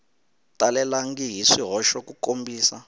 talelangi hi swihoxo ku kombisa